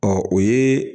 Ɔ o ye